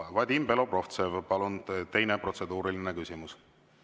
Vadim Belobrovtsev, palun, teine protseduuriline küsimus!